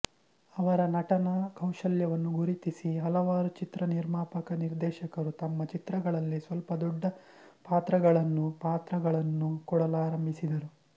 ಅವರ ನಟನಾ ಕೌಶಲವನ್ನು ಗುರುತಿಸಿ ಹಲವಾರು ಚಿತ್ರನಿರ್ಮಾಪಕ ನಿರ್ದೇಶಕರು ತಮ್ಮ ಚಿತ್ರಗಳಲ್ಲಿ ಸ್ವಲ್ಪ ದೊಡ್ಡ ಪಾತ್ರಗಳನ್ನೂ ಪಾತ್ರಗಳನ್ನು ಕೊಡಲಾರಂಭಿಸಿದರು